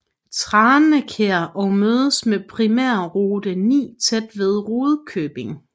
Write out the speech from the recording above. Tranekær og mødes med primærrute 9 tæt ved Rudkøbing